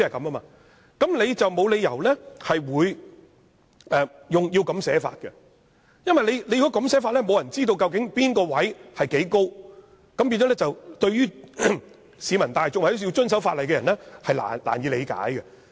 那麼便沒有理由這樣草擬條文，因為這樣寫的話，便沒有人知道究竟實際的高度，令市民大眾或要遵守法例的人難以理解。